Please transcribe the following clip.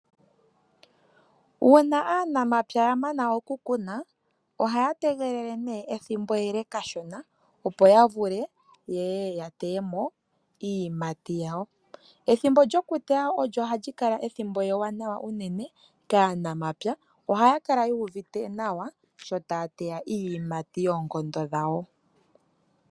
Uuna aanamapya ya mana okukuna , ohaya tegelele ethimbo ele kashona opo ya vule yeye ya teye mo iiyimati yawo. Ethimbo lyokuteya ohali kala ewanawa unene kaanamapya, ohaya kala yuuvite nawa , sho taya teya iiyimati yoonkondo dhawo.